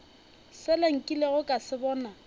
sela nkilego ka se bona